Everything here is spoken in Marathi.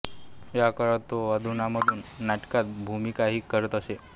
या काळात तो अधूनमधून नाटकात भूमिकाही करीत असे